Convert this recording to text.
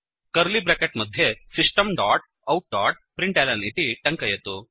curly bracket मध्ये system dot out dot println इति टङ्कयतु